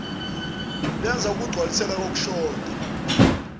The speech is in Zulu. lenzela ukugcwalisela kokushodayo